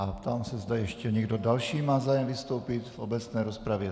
A ptám se, zda ještě někdo další má zájem vystoupit v obecné rozpravě.